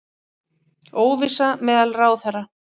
Óvissa meðal ráðherra